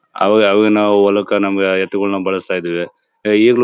ಅವಾಗವಾಗ ನಾವು ಹೊಲಕ್ಕೆ ನಮಗೆ ಎತ್ತುಗಳನ್ನ ಬಳಸ್ತಾ ಇದ್ವಿ ಈಗ್ಲೂ --